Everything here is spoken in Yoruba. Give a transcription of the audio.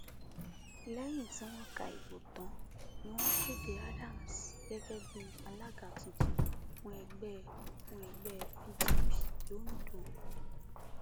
lẹyìn tí wọn ka ìbò tán ni wọn kéde adams gẹgẹ bíi alága tuntun fún ẹgbẹ fún ẹgbẹ pdp londo